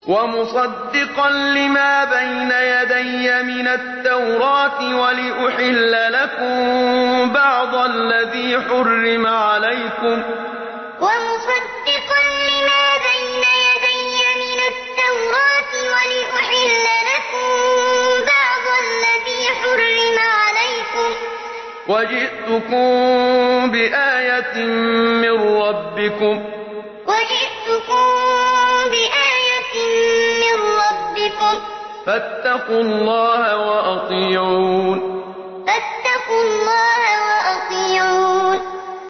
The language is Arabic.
وَمُصَدِّقًا لِّمَا بَيْنَ يَدَيَّ مِنَ التَّوْرَاةِ وَلِأُحِلَّ لَكُم بَعْضَ الَّذِي حُرِّمَ عَلَيْكُمْ ۚ وَجِئْتُكُم بِآيَةٍ مِّن رَّبِّكُمْ فَاتَّقُوا اللَّهَ وَأَطِيعُونِ وَمُصَدِّقًا لِّمَا بَيْنَ يَدَيَّ مِنَ التَّوْرَاةِ وَلِأُحِلَّ لَكُم بَعْضَ الَّذِي حُرِّمَ عَلَيْكُمْ ۚ وَجِئْتُكُم بِآيَةٍ مِّن رَّبِّكُمْ فَاتَّقُوا اللَّهَ وَأَطِيعُونِ